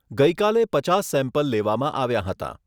ગઈ કાલે પચાસ સેમ્પલ લેવામાં આવ્યાં હતાં.